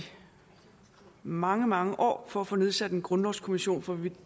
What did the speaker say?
mange mange år har for at få nedsat en grundlovskommission for vi